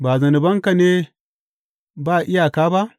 Ba zunubanka ne ba iyaka ba?